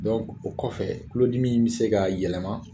o kɔfɛ tulodimi in bɛ se ka yɛlɛma